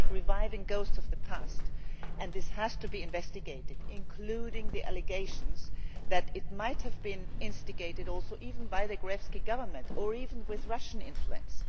It is like reviving ghosts of the past, and this has to be investigated, including the allegations that it might have been instigated also even by the Gruevski Government, or even with Russian influence.